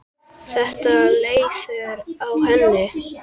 Ertu leiður á henni?